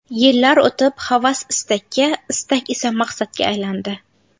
Yillar o‘tib havas istakka, istak esa maqsadga aylandi.